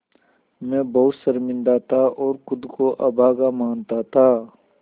मैं बहुत शर्मिंदा था और ख़ुद को अभागा मानता था